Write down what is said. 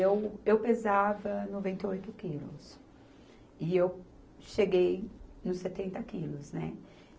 E eu, eu pesava noventa e oito quilos e eu cheguei nos setenta quilos, né?